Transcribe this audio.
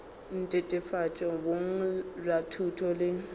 netefatšo boleng bja thuto le